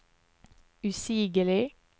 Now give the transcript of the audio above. usigelig